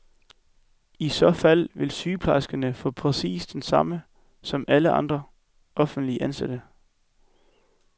I så fald vil sygeplejerskerne få præcis det samme som alle andre offentligt ansatte.